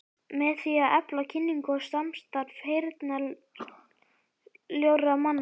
Með því að efla kynningu og samstarf heyrnarsljórra manna.